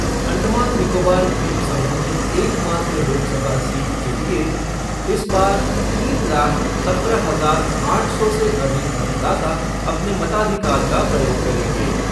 अंडमान निकोबार द्वीपसमूह की एकमात्र लोकसभा सीट के लिए इस बार तीन लाख सत्रह हजार आठ सौ से अधिक मतदाता अपने मताधिकार का प्रयोग करेंगे।